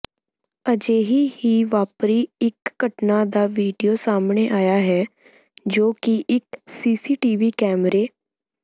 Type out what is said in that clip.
ਅਜਿਹੀ ਹੀ ਵਾਪਰੀ ਇੱਕ ਘਟਨਾ ਦਾ ਵੀਡਿਓ ਸਾਹਮਣੇ ਆਇਆ ਹੈ ਜੋ ਕਿ ਇੱਕ ਸੀਸੀਟੀਵੀ ਕੈਮਰੇ